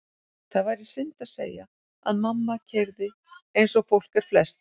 Það væri synd að segja að mamma keyrði eins og fólk er flest.